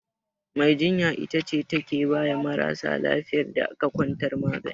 Mai jinya ita ce take baya marasa lafiyar da aka kwantar magani.